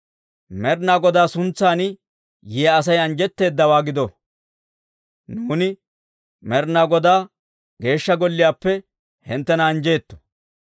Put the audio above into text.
Med'inaa Godaa suntsan yiyaa Asay anjjetteedawaa gido! Nuuni Med'inaa Godaa Geeshsha Golliyaappe hinttena anjjeetto.